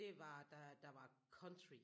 Det var da der var country